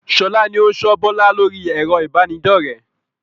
Sọlá ni ó n sọ Bọlá lórí ẹ̀rọ ibanidọ̀rẹ́